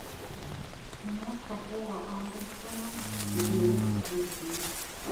киношка пола андерсона девять жизней